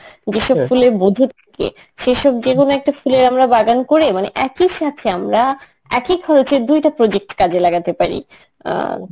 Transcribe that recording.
যেসব ফুলে মধু থাকে সেসব যেকোনো একটা ফুলের আমরা বাগান করে মানে একই সাথে আমরা একই খরচে দুইটা project কাজে লাগাতে পারি. অ্যাঁ